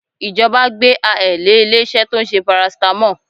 Ìjọba gbẹ́aẹ̀ lé ilé-iṣẹ́ tó ń ṣe paracetamol